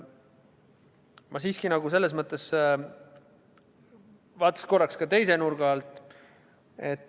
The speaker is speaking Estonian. Ma siiski vaataks korraks ka teise nurga alt.